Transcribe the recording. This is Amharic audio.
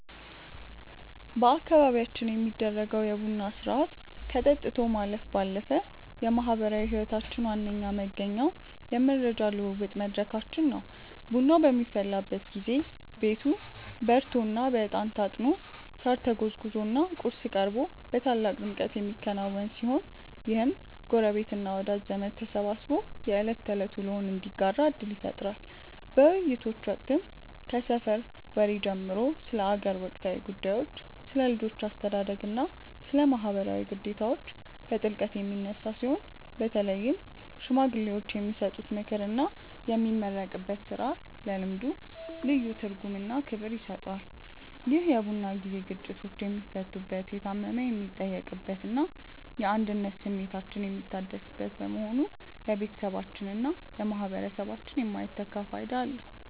በአካባቢያችን የሚደረገው የቡና ሥርዓት ከጠጥቶ ማለፍ ባለፈ የማኅበራዊ ሕይወታችን ዋነኛ መገኛውና የመረጃ ልውውጥ መድረካችን ነው። ቡናው በሚፈላበት ጊዜ ቤቱ በሬቶና በዕጣን ታጥኖ፣ ሳር ተጎዝጉዞና ቁርስ ቀርቦ በታላቅ ድምቀት የሚከናወን ሲሆን፣ ይህም ጎረቤትና ወዳጅ ዘመድ ተሰባስቦ የዕለት ተዕለት ውሎውን እንዲያጋራ ዕድል ይፈጥራል። በውይይቶች ወቅትም ከሰፈር ወሬ ጀምሮ ስለ አገር ወቅታዊ ጉዳዮች፣ ስለ ልጆች አስተዳደግና ስለ ማኅበራዊ ግዴታዎች በጥልቀት የሚነሳ ሲሆን፣ በተለይም ሽማግሌዎች የሚሰጡት ምክርና የሚመረቅበት ሥርዓት ለልምዱ ልዩ ትርጉምና ክብር ይሰጠዋል። ይህ የቡና ጊዜ ግጭቶች የሚፈቱበት፣ የታመመ የሚጠየቅበትና የአንድነት ስሜታችን የሚታደስበት በመሆኑ ለቤተሰባችንና ለማኅበረሰባችን የማይተካ ፋይዳ አለው።